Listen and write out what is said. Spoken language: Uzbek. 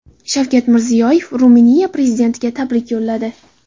Shavkat Mirziyoyev Ruminiya prezidentiga tabrik yo‘lladi.